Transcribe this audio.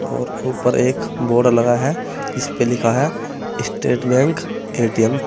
और ऊपर एक बोर्ड लगा है इस पर लिखा है स्टेट बैंक ए_टी_एम --